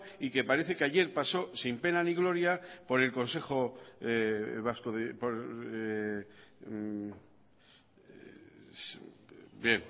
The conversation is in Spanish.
y que parece que ayer pasó sin pena ni gloria por el consejo vasco de